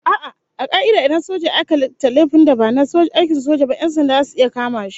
A'a, a ka'ida idan soja ya aika laifin da ba na aikin soja ba, 'yan sanda zasu iya kama shi